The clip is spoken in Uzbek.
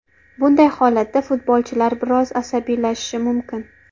Bunday holatda futbolchilar biroz asabiylashishi mumkin.